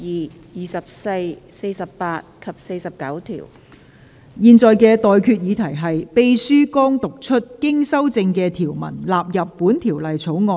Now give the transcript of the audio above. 我現在向各位提出的待決議題是：秘書剛讀出經修正的條文納入本條例草案。